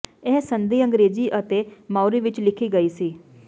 ਇਹ ਸੰਧੀ ਅੰਗਰੇਜ਼ੀ ਅਤੇ ਮਾਓਰੀ ਵਿਚ ਲਿਖੀ ਗਈ ਸੀ